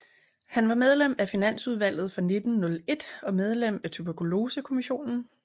Han var medlem af Finansudvalget fra 1901 og medlem af Tuberkulosekommissionen